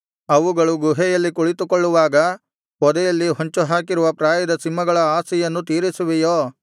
ಅವುಗಳು ಗುಹೆಯಲ್ಲಿ ಕುಳಿತುಕೊಳ್ಳುವಾಗ ಪೊದೆಯಲ್ಲಿ ಹೊಂಚುಹಾಕಿರುವ ಪ್ರಾಯದ ಸಿಂಹಗಳ ಆಶೆಯನ್ನು ತೀರಿಸುವೆಯೋ